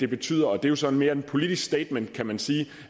betyder og det er så mere et politisk statement kan man sige